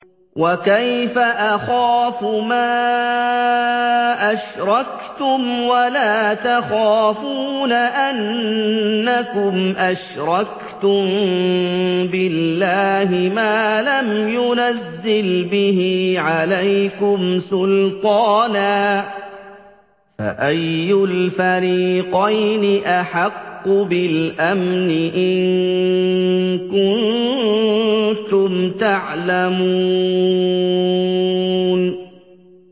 وَكَيْفَ أَخَافُ مَا أَشْرَكْتُمْ وَلَا تَخَافُونَ أَنَّكُمْ أَشْرَكْتُم بِاللَّهِ مَا لَمْ يُنَزِّلْ بِهِ عَلَيْكُمْ سُلْطَانًا ۚ فَأَيُّ الْفَرِيقَيْنِ أَحَقُّ بِالْأَمْنِ ۖ إِن كُنتُمْ تَعْلَمُونَ